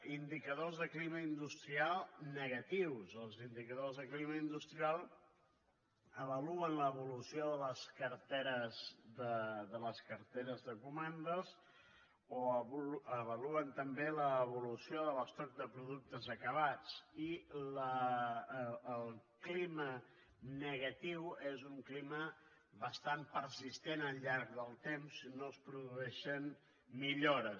indicadors de clima industrial negatius els indicadors de clima industrial avaluen l’evolució de les carteres de comandes o avaluen també l’evolució de l’estoc de productes acabats i el clima negatiu és un clima bastant persistent al llarg del temps no es produeixen millores